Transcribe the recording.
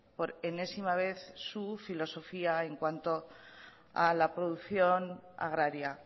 por enésima vez su filosofía en cuanto a la producción agraria